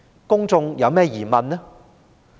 公眾有何疑問？